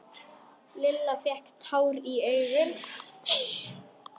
Lilla fékk tár í augun.